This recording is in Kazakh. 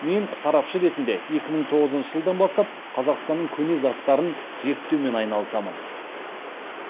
мен сарапшы ретінде екі мың тоғызыншы жылдан бастап қазақстанның көне заттарын зерттеумен айналысамын